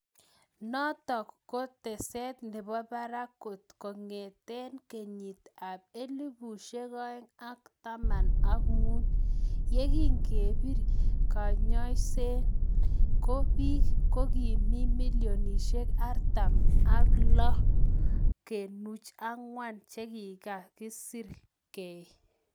Notok ko teset nepo parak kot kongete kenyit ap elefusiek oeng ak taman ak muut yegingepir keyaiewenisiet ko piik ko ki milionisiek artam ak loo kenuch angwan chekikasir gei